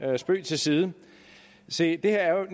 nej spøg til side se det her